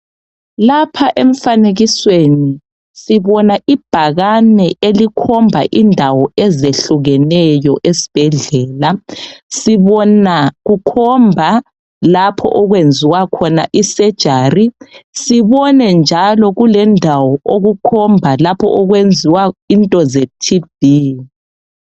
Lapha emfanekisweni sibona ibhakane elikhomba indawo ezehlukenyo esibhedlela sibona kukhomba lapho okwenziwa khona isejari sibone njalo kulendawo okukhomba lapho lokwenziwa into zeTB.